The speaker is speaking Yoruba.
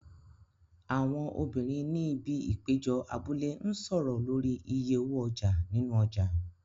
Àwọn obìnrin ni ibi ìpéjọ abúlé ń sọ̀rọ̀ lórí iye owó ọjà nínú ọjà.